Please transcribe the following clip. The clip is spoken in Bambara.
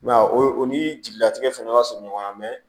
I m'a ye o ni jigilatigɛ fana ka surun ɲɔgɔn na mɛ